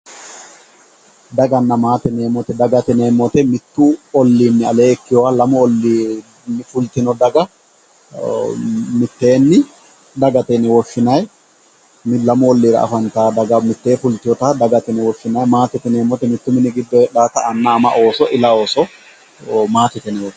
daganna maate yineemoti dagate yineemoti mittu olliinni alee ikkiyooha lamu olliini fultino daga mitteenni dagate yine woshshinayi lamu olliira afantayo daga mitte fulteyoota dagate yine woshshinayi maatete yineemot mittu mini giddo hexaata anna ama ooso ila ooso maatete yine woshshinayi.